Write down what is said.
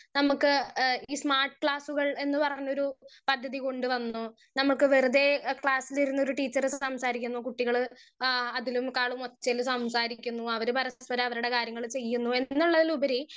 speaker 1 നമ്മുക്ക് എഹ് ഈ സ്മാർട്ട് ക്ലാസുകൾ എന്ന് പറഞ്ഞൊരു പദ്ധതി കൊണ്ടുവന്നു നമ്മുക്ക് വെറുതെ ക്ലാസിലിരുന്ന് ഒരു ട്ടീച്ചർ സംസാരിക്കുന്നു കുട്ടികൾ ആ അതിലും കാളും ഒച്ചയിൽ സംസാരിക്കുന്നു അവര് പരസ്പര അവരുടെ കാര്യങ്ങൾ ചെയുന്നു എന്നുള്ളതിലുപരി